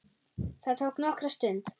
Það tók nokkra stund.